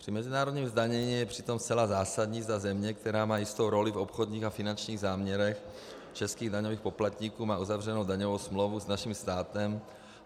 Při mezinárodním zdanění je přitom zcela zásadní, zda země, která má jistou roli v obchodních a finančních záměrech českých daňových poplatníků, má uzavřenou daňovou smlouvu s našim státem.